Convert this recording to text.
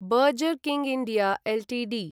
burger king India Ltd